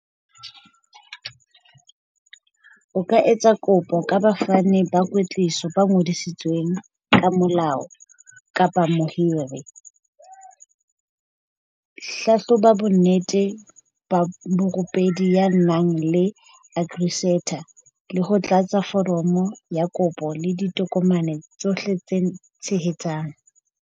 O ka etsa kopo ka bafani ba kwetliso ba ngodisitsweng ka molao kapa mohiri. Hlahloba bonnete ba morupedi ya nang le Agree certain le ho tlatsa foromo ya kopo le ditokomane tsohle tse tshehetsang.